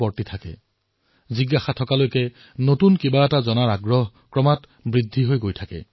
যেতিয়ালৈ জিজ্ঞাসা আছে তেতিয়ালৈ নতুন শিকাৰ ক্ৰম অব্যাহত থাকিব